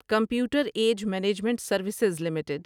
computer age management services limited